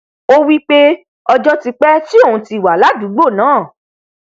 ó wípé ọjọ ti pẹ tí òun ti wà ládùúgbò náà